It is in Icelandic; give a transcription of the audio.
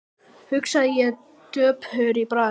hugsaði ég döpur í bragði.